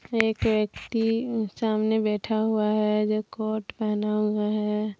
एक व्यक्ति सामने बैठा हुआ है जो कोट पहना हुआ है।